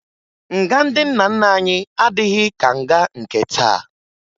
Nga ndị nna nna anyị adịghị ka nga nke taa